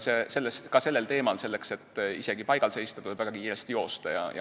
Ka sellel teemal tuleb selleks, et isegi paigal seista, väga kiiresti joosta.